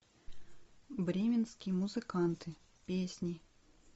бременские музыканты песни